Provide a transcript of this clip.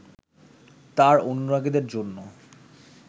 তাঁর অনুরাগীদের জন্য